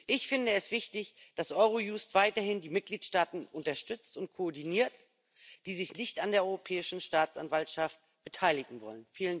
Ich finde es wichtig, dass Eurojust weiterhin die Mitgliedstaaten unterstützt und koordiniert, die sich nicht an der Europäischen Staatsanwaltschaft beteiligen wollen.